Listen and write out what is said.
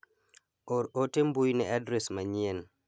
Or ote mbui ne adres manyien.